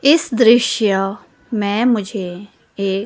इस दृश्य में मुझे एक--